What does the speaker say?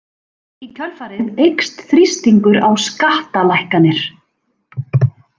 Í kjölfarið eykst þrýstingur á skattalækkanir.